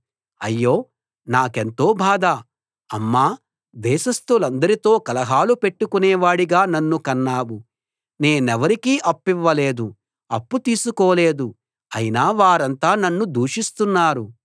అయ్యో నాకెంతో బాధ అమ్మా దేశస్థులందరితో కలహాలు పెట్టుకునేవాడిగా నన్ను కన్నావు నేనెవరికీ అప్పివ్వలేదు అప్పు తీసుకోలేదు అయినా వారంతా నన్ను దూషిస్తున్నారు